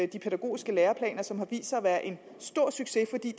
de pædagogiske læreplaner som har vist sig at være en stor succes fordi